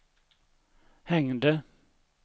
hängde